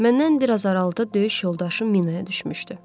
Məndən biraz aralıda döyüş yoldaşım minaya düşmüşdü.